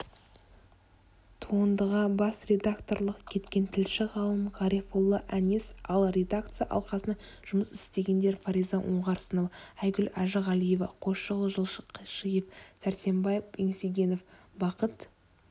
туындыға бас редакторлық еткен тілші-ғалым ғарифолла әнес ал редакция алқасында жұмыс істегендер фариза оңғарсынова айгүл әжіғалиева қойшығұл жылқышиев сәрсенбай еңсегенов бақыт